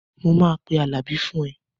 Mo máa pe Àlàbí fún ẹ